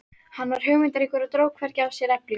Hann var hugmyndaríkur og dró hvergi af sér við eflingu